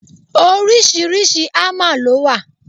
Oríṣiríṣi hámà lọ wà.